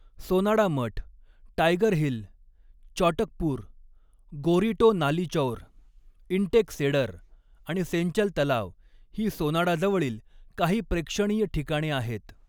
सोनाडा मठ, Tiger Hill, Chatakpur, गोरीटो नालीचौर, इंटेक सेडर आणि सेंचल तलाव ही सोनाडाजवळील काही प्रेक्षणीय ठिकाणे आहेत.